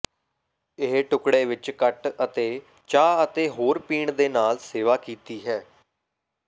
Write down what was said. ਇਹ ਟੁਕੜੇ ਵਿੱਚ ਕੱਟ ਅਤੇ ਚਾਹ ਅਤੇ ਹੋਰ ਪੀਣ ਦੇ ਨਾਲ ਸੇਵਾ ਕੀਤੀ ਹੈ